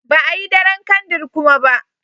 Ba a Yi daren kandir kuma ba.